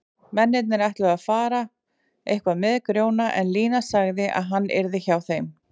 Mennirnir ætluðu að fara eitthvað með Grjóna en Lína sagði að hann yrði hjá þeim.